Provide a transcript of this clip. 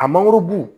A mangorobu